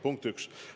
Punkt üks.